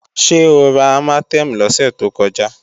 Ṣé o ra Armatem lọ́sẹ̀ tó kọjá?